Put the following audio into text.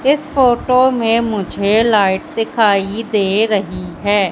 इस फोटो में मुझे लाइट दिखाई दे रही है।